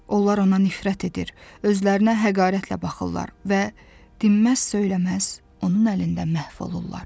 Onlar ona nifrət edir, özlərinə həqarətlə baxırlar və dinməz-söyləməz onun əlində məhv olurlar.